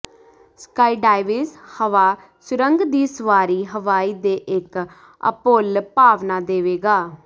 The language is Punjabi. ਸਕਾਈਡਾਈਵ ਜ ਹਵਾ ਸੁਰੰਗ ਦੀ ਸਵਾਰੀ ਹਵਾਈ ਦੇ ਇੱਕ ਅਭੁੱਲ ਭਾਵਨਾ ਦੇਵੇਗਾ